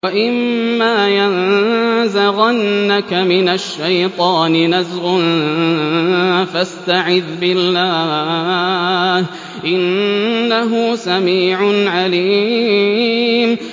وَإِمَّا يَنزَغَنَّكَ مِنَ الشَّيْطَانِ نَزْغٌ فَاسْتَعِذْ بِاللَّهِ ۚ إِنَّهُ سَمِيعٌ عَلِيمٌ